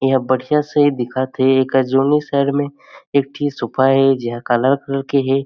यहाँ बढ़िया से दिखत हे अका जोने शहर मे एक ठी सुपा हे जहाँ कलरफुल के हे।